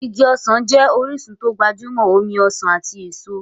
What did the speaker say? Igi ọsàn jẹ́ orísun tó gbajúmọ̀ omi ọsàn ati èso.